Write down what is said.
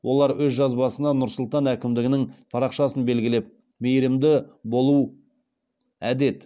олар өз жазбасына нұр сұлтан әкімдігінің парақшасын белгілеп мейірімдіболуәдет